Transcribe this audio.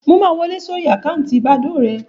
Mo máa wọ lé sórí àkáǹtì bàdóò rẹ